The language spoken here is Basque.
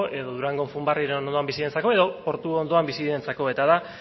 edo durango bizi direnentzako edo portu ondoan bizi direnentzako eta da